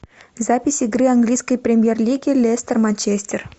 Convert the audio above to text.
запись игры английской премьер лиги лестер манчестер